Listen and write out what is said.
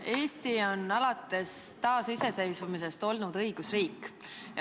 Eesti on alates taasiseseisvumisest olnud õigusriik.